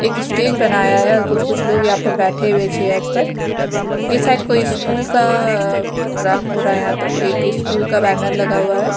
एक स्टेज बनाया है कुछ कुछ लोग यहाँ पर बैठे हुए चेयर पर ये शायद कोई स्कूल का प्रोग्राम हो रहा है यहाँं पर कोई एक स्कूल का बैनर लगा हुआ है।